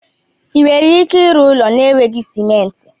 Ị nwere ike ịrụ ụlọ n'eweghị simenti?